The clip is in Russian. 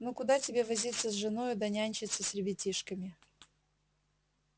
ну куда тебе возиться с женою да нянчиться с ребятишками